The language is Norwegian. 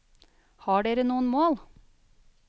Har dere noen mål?